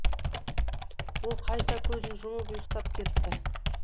ол қайта көзін жұмып ұйықтап кетті